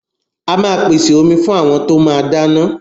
A máa pèsè omi fún àwọn tó máa dáná.